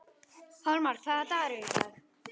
Hólmar, hvaða dagur er í dag?